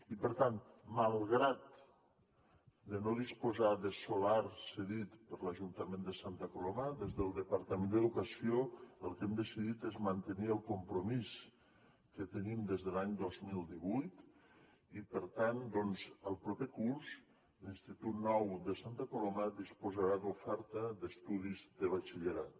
i per tant malgrat de no disposar de solar cedit per l’ajuntament de santa coloma des del departament d’educació el que hem decidit és mantenir el compromís que tenim des de l’any dos mil divuit i per tant doncs el proper curs l’institut nou de santa coloma disposarà d’oferta d’estudis de batxillerat